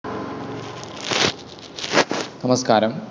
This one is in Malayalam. നമസ്കാരം.